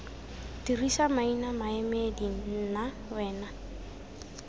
dirisa maina maemedi nna wena